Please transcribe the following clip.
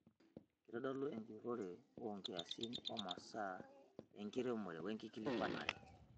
Keitodolu enjurore oonkiasin oomasaa enkiremore wenkikilikwanare.